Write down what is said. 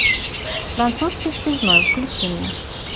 французский связной включи мне